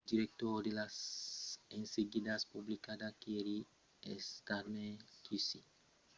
lo director de las enseguidas publicas keir starmer qc a fach una declaracion aqueste matin anonciant l'enseguida contra huhne e pryce a l'encòp